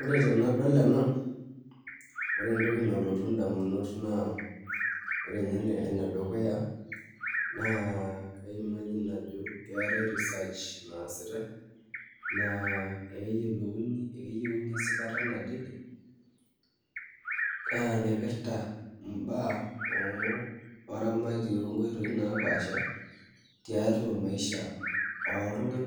Ore tenadol ena ore entoki nalotu indamunot naa ore inye enedukuya naa kitodolu ajo keetae research naasitai neeku ekeyieuni esipata nadede naipirta imbaa oramatiei oonkoitoi naapaasha tiatua maisha oltung'ak